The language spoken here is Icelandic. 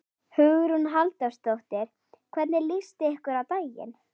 Hugrún Halldórsdóttir: Hvernig líst ykkur á daginn?